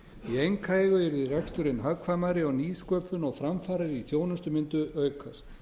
í einkaeigu yrði reksturinn hagkvæmari og nýsköpun og framfarir í þjónustu mundu aukast